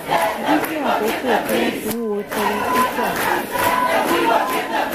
dídín àkókò tí wón fi ń wo television